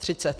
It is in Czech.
Třicet?